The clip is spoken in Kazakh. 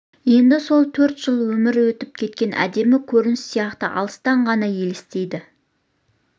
енді сол төрт жыл өмірі өтіп кеткен әдемі көрініс сияқты алыстан ғана елестейді